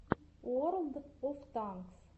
уорлд оф танкс